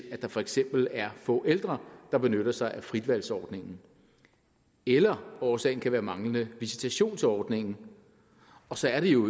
at der for eksempel er få ældre der benytter sig af fritvalgsordningen eller årsagen kan være manglende visitation til ordningen så er det jo